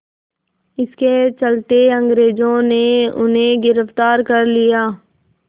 इसके चलते अंग्रेज़ों ने उन्हें गिरफ़्तार कर लिया